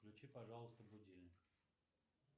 включи пожалуйста будильник